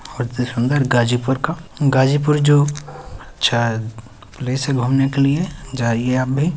बहोत ही सुन्दर गाजीपुर का गाजीपूरी जो प्लेस है घुमने के लिये जाईये आप भी --